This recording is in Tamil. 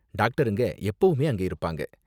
டாக்டருங்க எப்பவுமே அங்க இருப்பாங்க.